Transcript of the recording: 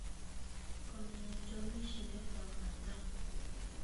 kũmenya itũmi ici nĩ kwa bata